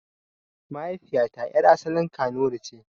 Mahaifiyata yar' asalin kanuri ce.